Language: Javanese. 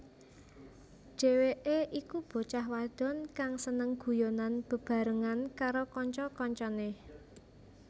Dheweké iku bocah wadon kang seneng guyonan bebarengan karo kanca kancané